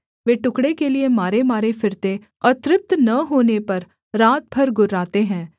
वे टुकड़े के लिये मारेमारे फिरते और तृप्त न होने पर रात भर गुर्राते है